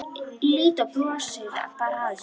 Lídó brosir bara að þessu.